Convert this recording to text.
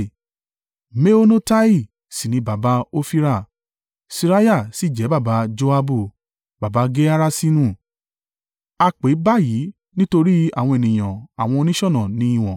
Meonotai sì ni baba Ofira. Seraiah sì jẹ́ baba Joabu, baba Geharaṣinu. A pè báyìí nítorí àwọn ènìyàn àwọn oníṣọ̀nà ní ìwọ̀n.